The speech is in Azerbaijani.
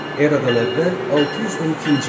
Eradan əvvəl 612-ci il.